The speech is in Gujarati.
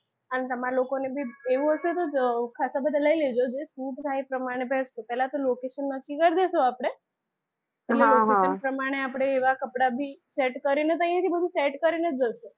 અને તમે લોકો ને બી એવું હશે તો ખાશા બધા લઈ લેજો એટલે આપડે location નક્કી કરી લઈશું આપડે હા હા location પ્રમાણે આપડે એવા કપડાં ભી set કરીને જ બધુ set કરીને જ જઈશું